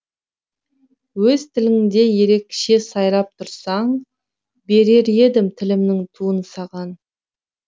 өз тіліңде ерекше сайрап тұрсаң берер едім тілімнің туын саған